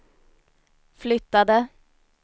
flyttade